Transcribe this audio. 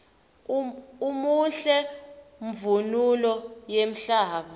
umuhle mvunulo yemhlaba